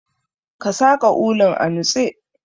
Ka saƙa ulun a nutse.